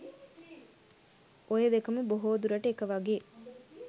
ඔය දෙකම බොහෝ දුරට එක වගේ